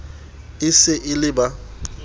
e se e le ba